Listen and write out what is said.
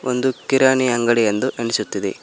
ಒಂದು ಕಿರಾಣಿ ಅಂಗಡಿ ಎಂದು ಅನಿಸುತ್ತದೆ.